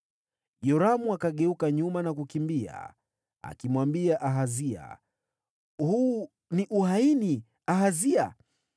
Yoramu akageuka nyuma na kukimbia, akimwambia Ahazia, “Huu ni uhaini, Ahazia!”